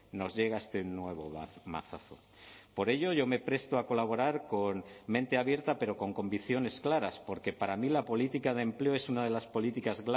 nos llega este nuevo mazazo por ello me presto a colaborar con mente abierta pero con convicciones claras porque para mí la política de empleo es una de las políticas